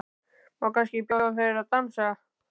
Má kannski bjóða þér að dansa?